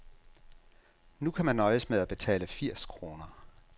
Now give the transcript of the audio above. Nu kan man nøjes med at betale firs kroner.